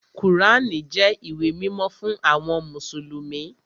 Kùránì jẹ́ ìwé mímọ́ fún àwọn mùsùlùmí